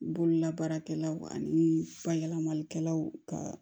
Bololabaarakɛlaw ani bayɛlɛmalikɛlaw ka